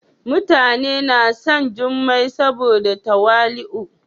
mutani na son jummai saboda tawali'u.